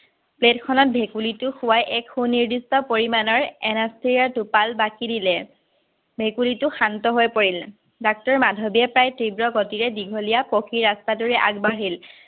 plate খনত ভেকুলীটো শুৱাই এক সুনিৰ্দিষ্ট পৰিমানৰ anaesthesia টোপাল বাকী দিলে, ভেকুলীটো শান্তহৈ পৰিল। ডাক্তৰ মাধৱীয়ে প্ৰায় তীব্ৰ গতিৰে দীঘলীয়া পকী ৰাস্তাটোৰে আগবাঢ়িল।